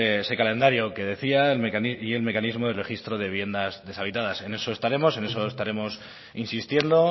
ese calendario que decía y el mecanismo de registro de viviendas deshabitadas en eso estaremos en eso estaremos insistiendo